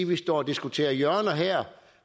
vi står og diskuterer hjørner her